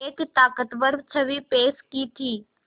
एक ताक़तवर छवि पेश की थी